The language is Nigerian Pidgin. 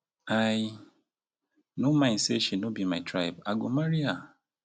i no mind sey she no be my tribe i go marry her.